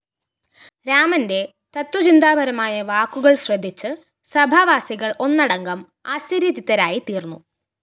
രാമന്റെ തത്ത്വചിന്താപരമായ വാക്കുകള്‍ ശ്രദ്ധിച്ചു സഭാവാസികള്‍ ഒന്നടങ്കം ആശ്ചര്യചിത്തരായിത്തീര്‍ന്നു